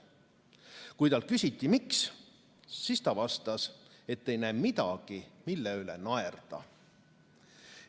Kui talt küsiti, miks, siis ta vastas, et ei näe midagi, mille üle naerda.